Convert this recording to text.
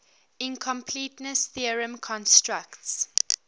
incompleteness theorem constructs